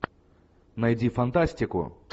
найди фантастику